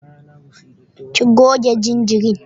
Ki goge jinjirin.